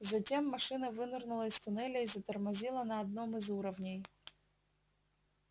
затем машина вынырнула из туннеля и затормозила на одном из уровней